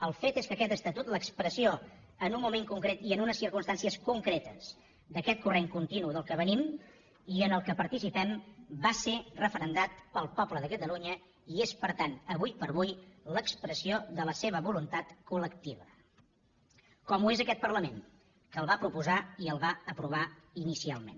el fet és que aquest estatut l’expressió en un moment concret i en unes circumstàncies concretes d’aquest corrent continu del qual venim i en el qual participem va ser referendat pel poble de catalunya i és per tant ara per ara l’expressió de la seva voluntat col·lectiva com ho és aquest parlament que el va proposar i el va aprovar inicialment